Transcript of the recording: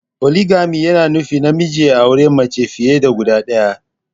poligami yana nufin namiji ya auri mace fiye da guda ɗaya.